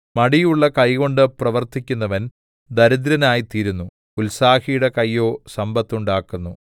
മടിയുള്ള കൈകൊണ്ട് പ്രവർത്തിക്കുന്നവൻ ദരിദ്രനായിത്തീരുന്നു ഉത്സാഹിയുടെ കൈയോ സമ്പത്തുണ്ടാക്കുന്നു